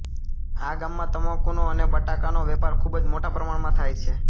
આ ગામમાં તમાકુનો અને બટાકાનો વેપાર ખૂબજ મોટા પમાણમાં થાય છે